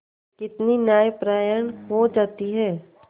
कितनी न्यायपरायण हो जाती है